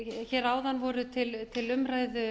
hér áðan voru til umræðu